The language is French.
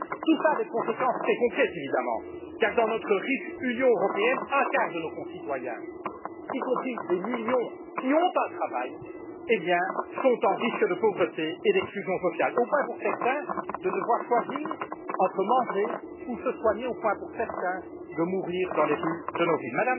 Tout cela a des conséquences très concrètes évidemment car, dans notre riche Union européenne, un quart de nos concitoyens, y compris des millions qui ont un travail, sont en risque de pauvreté et d'exclusion sociale, au point pour certains de devoir choisir entre manger ou se soigner, au point de mourir dans les rues de nos villes.